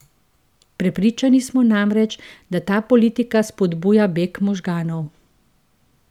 Prepričani so namreč, da ta politika spodbuja beg možganov.